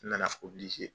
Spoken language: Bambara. N nana